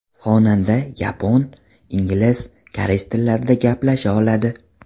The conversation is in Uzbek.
Xonanda yapon, ingliz, koreys tillarida gaplasha oladi.